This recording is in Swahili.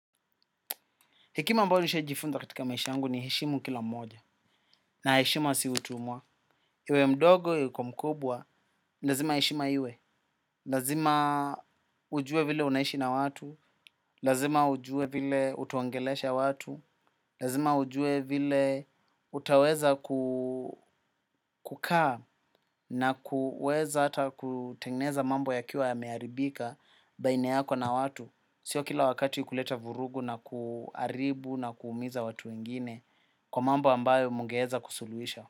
Hekima mbayo nishawai jifunza katika maisha angu ni heshimu kila mmoja na heshima si utumwa. Iwe mdogo yuko mkubwa, lazima heshima iwe. Lazima ujue vile unaishi na watu, lazima ujue vile utaongelesha watu, lazima ujue vile utaweza kukaa na kuweza hata kutengeneza mambo yakiwa ya meharibika baina yako na watu. Sio kila wakati kuleta vurugu na kuharibu na kuumiza watu wengine. Kwa mambo ambayo mgeeza kusuluhisha.